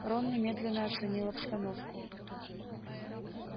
рон немедленно оценил обстановку